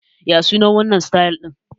Ya sunan wannan sitayil ɗin?